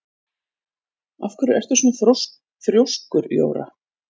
Af hverju ertu svona þrjóskur, Jóra?